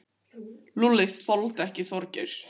Lúlli þoldi ekki Þorgeir.